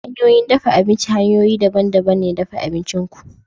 Hanyoyin dafa abinci hanyoyi ne daban-daban na dafa abincin ku.